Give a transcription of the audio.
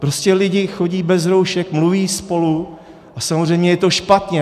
Prostě lidi chodí bez roušek, mluví spolu, a samozřejmě je to špatně.